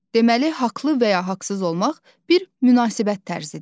Deməli, haqlı və ya haqsız olmaq bir münasibət tərzidir.